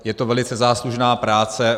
Je to velice záslužná práce.